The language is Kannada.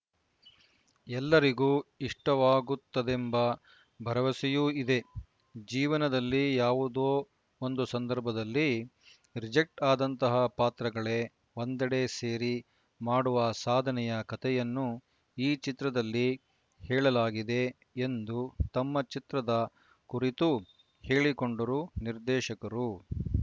ಎಲ್ಲರಿಗೂ ಇಷ್ಟವಾಗುತ್ತದೆಂಬ ಭರವಸೆಯೂ ಇದೆ ಜೀವನದಲ್ಲಿ ಯಾವುದೋ ಒಂದು ಸಂದರ್ಭದಲ್ಲಿ ರಿಜೆಕ್ಟ್ ಆದಂತಹ ಪಾತ್ರಗಳೇ ಒಂದೆಡೆ ಸೇರಿ ಮಾಡುವ ಸಾಧನೆಯ ಕತೆಯನ್ನು ಈ ಚಿತ್ರದಲ್ಲಿ ಹೇಳಲಾಗಿದೆ ಎಂದು ತಮ್ಮ ಚಿತ್ರದ ಕುರಿತು ಹೇಳಿಕೊಂಡರು ನಿರ್ದೇಶಕರು